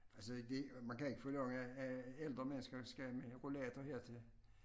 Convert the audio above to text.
Altså det man kan ikke forlange at at ældre mennesker skal med rollator hertil